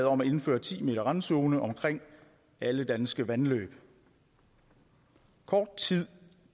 om at indføre ti m randzone omkring alle danske vandløb kort tid